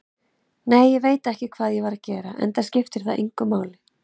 Nei, ég veit ekkert hvað ég var að gera, enda skiptir það engu máli.